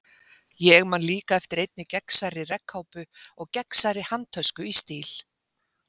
Ég man líka eftir einni gegnsærri regnkápu og gegnsærri handtösku í stíl.